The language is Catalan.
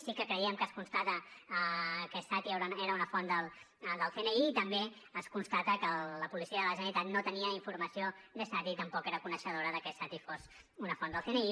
sí que creiem que es constata que es satty era una font del cni i també es constata que la policia de la generalitat no tenia informació d’es satty ni tampoc era coneixedora de que es satty fos una font del cni